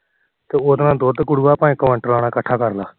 ਤੇ ਉਹਦੇ ਨਾਲ ਦੁਧ ਗੁਰੂਆ ਚਾਹੇ ਕੋਆਨਟਲਾ ਨਾਲ ਇਕੱਠਾ ਕਰਲਾ